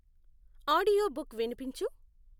audiobook విన్పించు